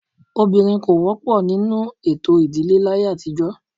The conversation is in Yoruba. Obìnrin kò wọ́pọ̀ nínú ètò ìdílé láyé àtijọ́.